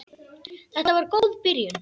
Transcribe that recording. Þetta var góð byrjun.